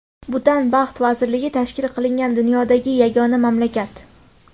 Butan baxt vazirligi tashkil qilingan dunyodagi yagona mamlakat.